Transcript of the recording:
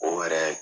O yɛrɛ